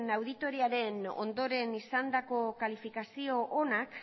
auditoriaren ondoren izandako kalifikazio onak